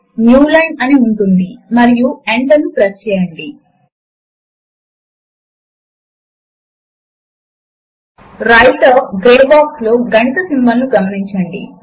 మనము దానిని ఒక లిబ్రిఆఫిస్ వ్రైటర్ డాక్యుమెంట్ లోపలి నుంచి ఓపెన్ చేయవచ్చు